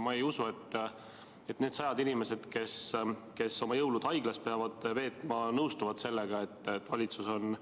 Ma ei usu, et need sajad inimesed, kes oma jõulud haiglas peavad veetma, nõustuvad sellega, et valitsus on